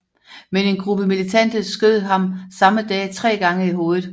Men en gruppe militante skød ham samme dag tre gange i hovedet